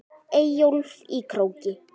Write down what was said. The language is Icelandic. Eyjólf í Króki.